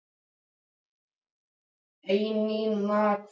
Fundum okkar ber saman inni á baði yfir nýja vaskinum.